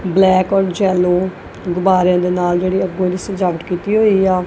Black ਔਰ ਜੇੱਲੋ ਗੁਬਾਰਿਆਂ ਦੇ ਨਾਲ ਜਿਹੜੀ ਆ ਪੂਰੀ ਸਜਾਵਟ ਕੀਤੀ ਹੋਈ ਆ।